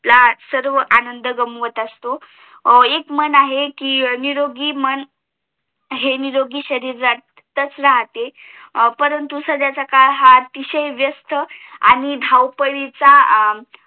सर्व आनंद गमावत असतो उ एक मन आहे कि निरोगी मन हे निरोगी शरीरातच राहते परंतु सध्याचा काळ हा अतिशय व्यस्त आणि धावपळीचा आहे